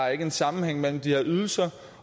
er en sammenhæng mellem de her ydelser